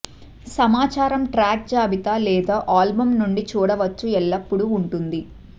సమాచారం ట్రాక్ జాబితా లేదా ఆల్బమ్ నుండి చూడవచ్చు ఎల్లప్పుడూ ఉంటుంది